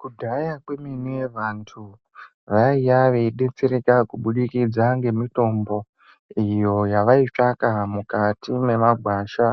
Kudhaya kwemene vantu vaiya veibetsereka kubudikidza ngemitombo iyo yavaitsvaka mukati mwemagwasha